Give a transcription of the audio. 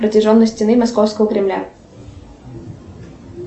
протяженность стены московского кремля